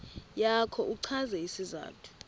yakho uchaze isizathu